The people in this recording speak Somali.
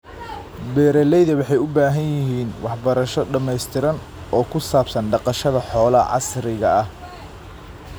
Beeralayda waxay u baahan yihiin waxbarasho dhamaystiran oo ku saabsan dhaqashada xoolaha casriga ah.